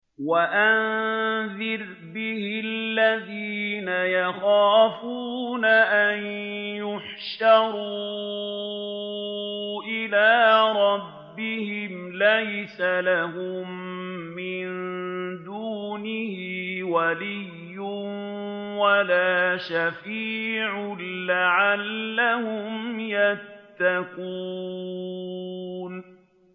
وَأَنذِرْ بِهِ الَّذِينَ يَخَافُونَ أَن يُحْشَرُوا إِلَىٰ رَبِّهِمْ ۙ لَيْسَ لَهُم مِّن دُونِهِ وَلِيٌّ وَلَا شَفِيعٌ لَّعَلَّهُمْ يَتَّقُونَ